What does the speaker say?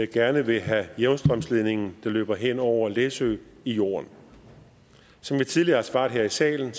gerne vil have jævnstrømsledningen der løber hen over læsø i jorden som jeg tidligere har svaret her i salen